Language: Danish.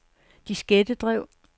diskettedrev